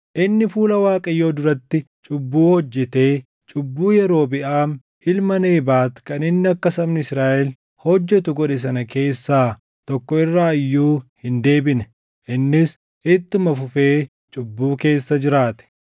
Inni fuula Waaqayyoo duratti cubbuu hojjetee cubbuu Yerobiʼaam ilma Nebaat kan inni akka sabni Israaʼel hojjetu godhe sana keessaa tokko irraa iyyuu hin deebine; innis ittuma fufee cubbuu keessa jiraate.